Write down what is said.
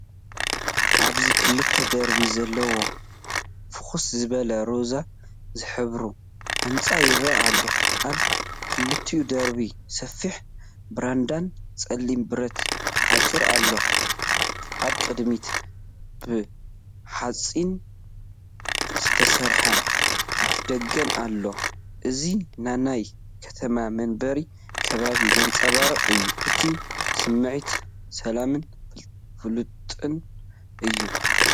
ኣብዚ ክልተ ደርቢ ዘለዎ ፍኹስ ዝበለ ሮዛ ዝሕብሩ ህንጻ ይረአ ኣሎ። ኣብ ክልቲኡ ደርቢ ሰፊሕ ብራንዳን ጸሊም ብረት ሓጹርን ኣሎ። ኣብ ቅድሚት ብሓጺን ዝተሰርሐ ኣፍደገን ኣሎ። እዚ ንናይ ከተማ መንበሪ ከባቢ ዘንጸባርቕ እዩ። እቲ ስምዒት ሰላምን ፍሉጥን እዩ።